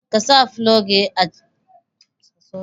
Ka sa fulogi a cikin safa na bango.